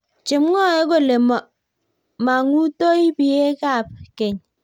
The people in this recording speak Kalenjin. Chemwoe kole mangutoi biekap keny